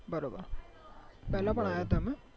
પેલા પણ આયા તા એવું બરોબર